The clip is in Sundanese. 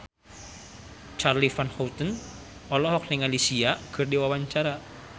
Charly Van Houten olohok ningali Sia keur diwawancara